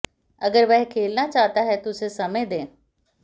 अगर वह खेलना चाहता है तो उसे समय दें